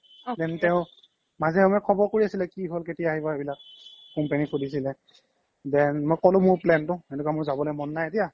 then তেও মাজে সময়ে খবৰ কৰি আছিলে কি হ্'ল কেতিয়া আহিবা এইবিলাক company চ্লিছিলে then মই ক্'লো plan তো এনেকুৱা মোৰ যাবলে মন নাই এতিয়া